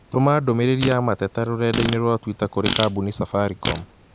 Tũma ndũmĩrĩri ya mateta rũrenda-inī rũa tũita kũrĩ kambũni Safaricom